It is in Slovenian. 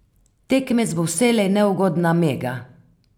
Tekmec bo vselej neugodna Mega.